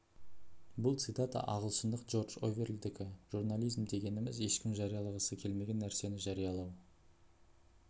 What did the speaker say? бұл цитата ағылшындық джордж орвелдікі журнализм дегеніміз ешкім жариялағысы келмеген нәрсені жариялау